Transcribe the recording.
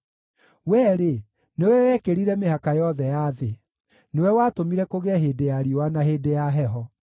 Wee-rĩ, nĩwe wekĩrire mĩhaka yothe ya thĩ; nĩwe watũmire kũgĩe hĩndĩ ya riũa na hĩndĩ ya heho.